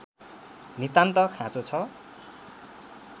नितान्त खाँचो छ